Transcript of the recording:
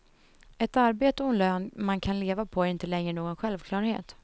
Ett arbete och en lön man kan leva på är inte längre någon självklarhet.